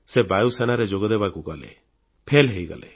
ସେ ବାୟୁସେନାରେ ଯୋଗଦେବାକୁ ଗଲେ ଫେଲFail ହୋଇଗଲେ